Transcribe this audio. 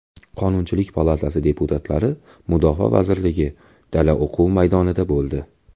Qonunchilik palatasi deputatlari Mudofaa vazirligi dala-o‘quv maydonida bo‘ldi .